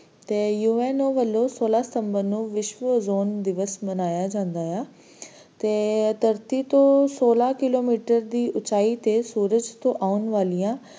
ਤੇ UNO ਵੱਲੋਂ ਸੋਲਾਂ September ਨੂੰ ਵਿਸ਼ਵ Ozone ਦਿਵਸ ਮਨਾਇਆ ਜਾਂਦਾ ਹੈ ਤੇ ਧਰਤੀ ਤੋਂ ਸੋਲਾਂ kilometer ਦੀ ਉੱਚਾਈ ਤੋਂ ਸੂਰਜ ਆਉਣ ਵਾਲੀਆਂ